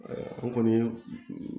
an kɔni